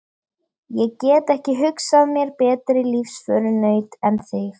Ég get ekki hugsað mér betri lífsförunaut en þig.